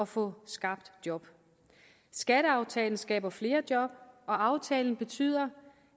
få skabt job skatteaftalen skaber flere job og aftalen betyder